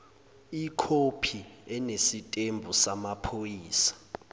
ikhophi enesitembu samaphoyisa